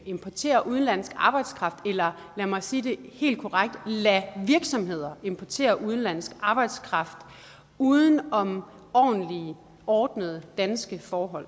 importerer udenlandsk arbejdskraft eller lad mig sige det helt korrekt lader virksomheder importere udenlandsk arbejdskraft uden om ordentlige ordnede danske forhold